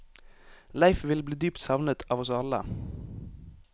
Leif vil bli dypt savnet av oss alle.